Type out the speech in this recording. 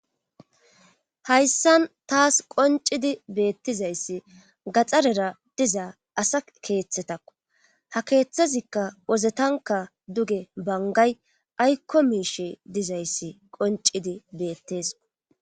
Hayssan taas qoncidi beettizayssi gaxarera diza asa keeththetakko ha keeththazikka wozetanka duge bangay aykko miishe dizayssi qoncidi beetteso